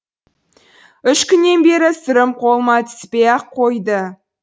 үш күннен бері сырым қолыма түспей ақ қойды